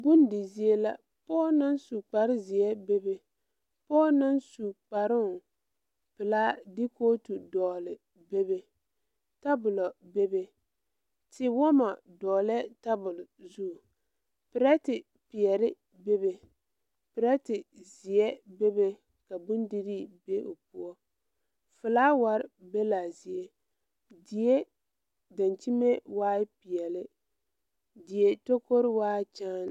Bondi zie la pɔɔ naŋ su kparezeɛ bebe pɔɔ naŋ su kparoŋ pelaa de kootu dɔgle bebe tabolɔ bebe tiwɔmɔ dɔglɛɛ tabol zu pirɛte peɛle bebe pirɛte zeɛ bebe ka bondirii be o poɔ flaawarre be laa zie die dankyime waai peɛle die tokore waai kyaane.